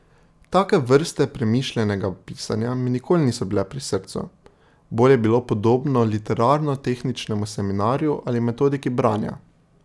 Take vrste premišljenega pisanja mi nikoli niso bile pri srcu, bolj je bilo podobno literarno tehničnemu seminarju ali metodiki branja.